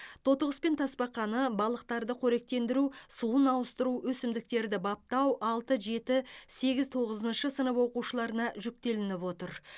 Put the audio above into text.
тотықұс пен тасбақаны балықтарды қоректендіру суын ауыстыру өсімдіктерді баптау алты жеті сегіз тоғызыншы сынып оқушыларына жүктелініп отыр